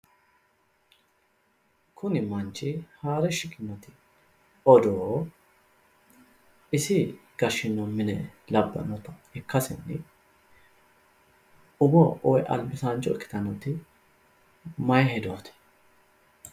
Kuni manchi haare shiqinoti odoo isi gashino mine labbanotta ikkasenni umo woyi albisaancho ikkittanoti maayi hedooti ?